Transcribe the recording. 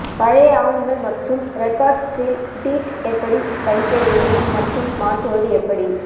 பழைய ஆவணங்கள் மற்றும் ரெகார்ட்ஸில் டீட் எப்படி படிக்க வேண்டும் மற்றும் மாற்றுவது எப்படி